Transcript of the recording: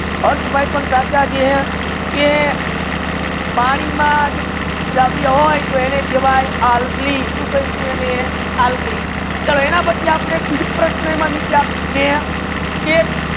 અર્થ ભાઈ પણ સચ્ચા છે કે પાની માં દ્રવ્ય હોય એને કહેવયે અલ્ફી સુ કહેસુ એને અલ્ફી સર એના પચી આપડે બીજુ પ્રશ્ના નીચે આપેલુ છે કે